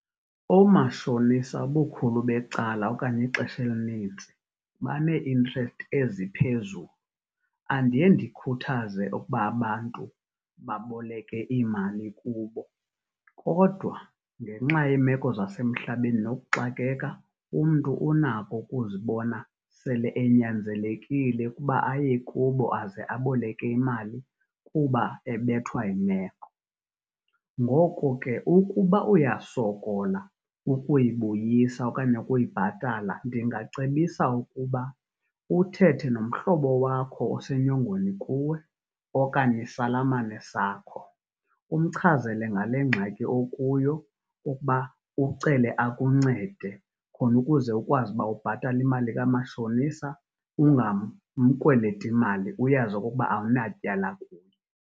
Oomashonisa ubukhulu becala okanye ixesha elinintsi banee-interest eziphezulu. Andiye ndikhuthaze okuba abantu baboleke iimali kubo, kodwa ngenxa yeemeko zasemhlabeni nokuxakeka, umntu unako ukuzibona sele enyanzelekile ukuba aye kubo aze aboleke imali kuba ebethwa yimeko. Ngoko ke ukuba uyasokola ukuyibuyisa okanye ukuyibhatala, ndingacebisa ukuba uthethe nomhlobo wakho osenyongweni kuwe okanye isalamane sakho, umchazele ngale ngxaki okuyo ukuba ucele akuncede khona ukuze ukwazi ukuba ubhatale imali kamashonisa ungamkweleti mali uyazi okokuba awunatyala kuye.